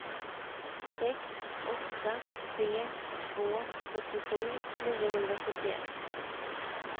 sex åtta tre två fyrtiosju niohundrasjuttioett